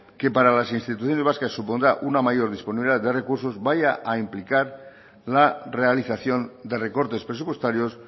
que para las instituciones vascas supondrá una mayor disponibilidad de recursos vaya a implicar la realización de recortes presupuestarios